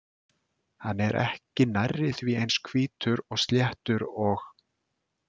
Hann er ekki nærri því eins hvítur og sléttur og